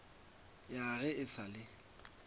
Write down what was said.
ya ge e sa le